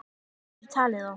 Enginn getur talið þá.